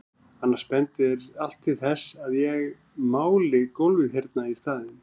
Annars bendir allt til þess að ég máli gólfið hérna í staðinn.